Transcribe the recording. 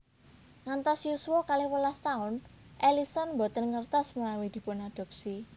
Ngantos yuswa kalih welas taun Ellison boten ngertos menawi dipunadhopsi